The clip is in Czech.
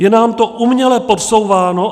Je nám to uměle podsouváno.